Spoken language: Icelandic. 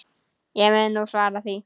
Ég mun nú svara því.